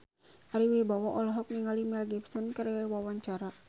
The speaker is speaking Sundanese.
Ari Wibowo olohok ningali Mel Gibson keur diwawancara